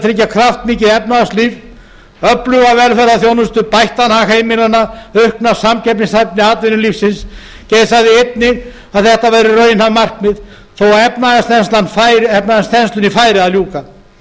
tryggja kraftmikið efnahagslíf öfluga velferðarþjónustu bættan hag heimilanna aukna samkeppnishæfni atvinnulífsins geir sagði einnig að þetta væru raunhæf markmið þó að efnahagsþenslunni færi að ljúka